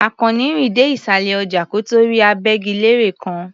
Àkànní rìn dé ìsàlẹ̀ ọjà kó tó rí agbẹ́gilére kan.